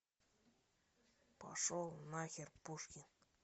пошел нахер пушкин